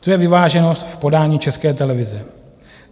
To je vyváženost v podání České televize.